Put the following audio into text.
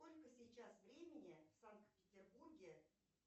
сколько сейчас времени в санкт петербурге